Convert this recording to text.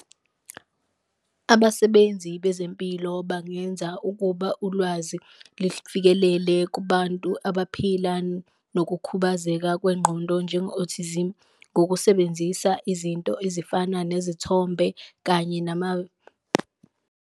Abasebenzi bezempilo bangenza ukuba ulwazi lifikelele kubantu abaphila nokukhubazeka kwengqondo njengo-autism, ngokusebenzisa izinto ezifana nezithombe kanye nama .